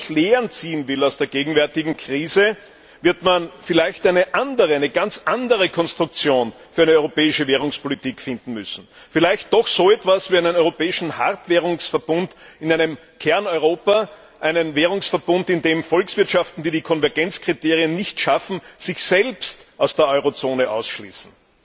Wenn man wirklich Lehren aus der gegenwärtigen Krise ziehen will, wird man vielleicht eine andere, eine ganz andere Konstruktion für eine europäische Währungspolitik finden müssen vielleicht doch so etwas wie einen europäischen Hartwährungsverbund in einem Kerneuropa, einen Währungsverbund, in dem Volkswirtschaften, die die Konvergenzkriterien nicht schaffen, sich selbst aus der Eurozone ausschließen.